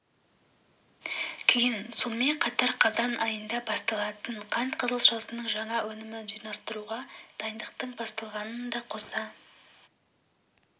күйін сонымен қатар қазан айында басталатын қант қызылшасының жаңа өнімін жинастыруға дайындықтың басталғанын да қоса